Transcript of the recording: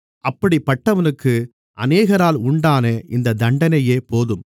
அப்படிப்பட்டவனுக்கு அநேகரால் உண்டான இந்தத் தண்டனையே போதும்